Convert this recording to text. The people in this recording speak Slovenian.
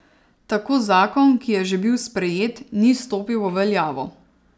Tako zakon, ki je že bil sprejet, ni stopil v veljavo.